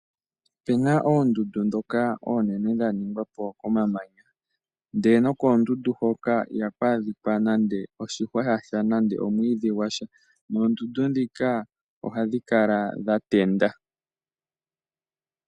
Opu na oondundu ndhoka oonene dha ningwa po komamanya nokoondundu hoka ihaku adhika nando oshihwa sha sha nenge omwiidhi gwa sha. Oondundu ndhika ohadhi kala dha tenda.